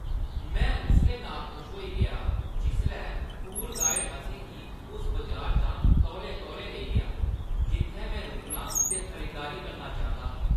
मैं उसलै नाखुश होई गेआ जिसलै टूर गाइड असें गी उस बजारै चा तौले-तौले लेई गेआ जित्थैं में रुकना ते खरीदारी करना चांह्दा हा।